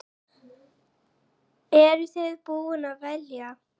Eru þið búin að velja?